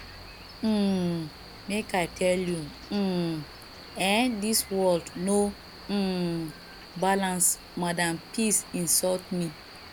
um make i tell you um eh dis world no um balance madam peace insult me